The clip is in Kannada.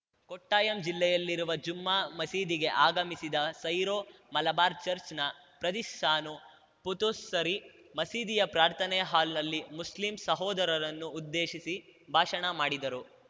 ಕೊಟ್ಟಾಯಂ ಜಿಲ್ಲೆಯಲ್ಲಿರುವ ಜುಮ್ಮಾ ಮಸೀದಿಗೆ ಆಗಮಿಸಿದ ಸೈರೋ ಮಲಬಾರ್‌ ಚಚ್‌ರ್‍ನ ಪಾದ್ರಿ ಸಾನು ಪುಥುಸ್ಸರಿ ಮಸೀದಿಯ ಪ್ರಾರ್ಥನೆ ಹಾಲ್‌ನಲ್ಲಿ ಮುಸ್ಲಿಂ ಸಹೋದರರನ್ನು ಉದ್ದೇಶಿಸಿ ಭಾಷಣ ಮಾಡಿದರು